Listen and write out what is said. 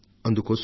అందుకోసం